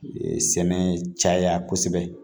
Sɛnɛ caya kosɛbɛ